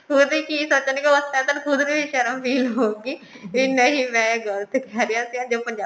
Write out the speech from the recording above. ਖੁਦ ਕਿ ਸੋਚਣਗੇ ਉਹ ਬਸ ਪਹਿਲਾਂ ਤੇਨੂੰ ਖੁਦ ਨੂੰ ਹੀ ਸ਼ਰਮ feel ਹੋਊਗੀ ਵੀ ਨਹੀਂ ਮੈਂ ਗਲਤ ਕਹਿ ਰਿਹਾ ਜੋ ਪੰਜਾਬੀ